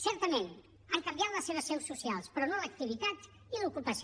certament han canviat les seves seus socials però no l’activitat i l’ocupació